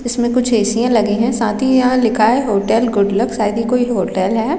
इसमें कुछ ए_सी या लगे है साथ ही यहाँ लिखा हैं होटल गुड लक शायद ही ये कोई होटल है।